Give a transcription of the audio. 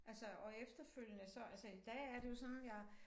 Altså og efterfølgende så altså i dag er det jo sådan jeg